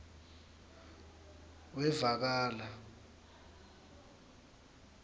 wevakala